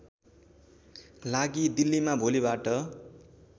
लागि दिल्लीमा भोलिबाट